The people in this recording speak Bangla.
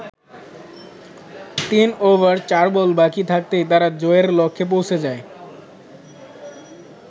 তিন ওভার চার বল বাকি থাকতেই তারা জয়ের লক্ষ্যে পৌঁছে যায়।